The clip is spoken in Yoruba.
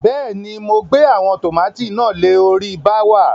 Bẹ́ẹ̀ ni, mo gbe àwọn tòmátì náà le orí bááwà.